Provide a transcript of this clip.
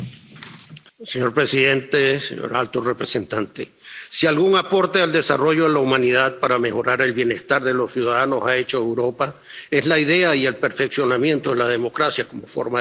Señor presidente, señor alto representante, si algún aporte al desarrollo de la humanidad para mejorar el bienestar de los ciudadanos ha hecho Europa, es la idea y el perfeccionamiento de la democracia como forma de gobierno.